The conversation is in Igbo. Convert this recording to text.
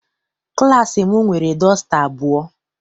Klassi m nwere dọsta abụọ.